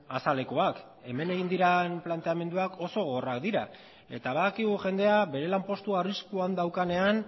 azalekoak hemen egin diren planteamenduak oso gogorrak dira eta badakigu jendea bere lanpostua arriskuan daukanean